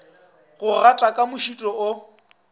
go gata ka mošito o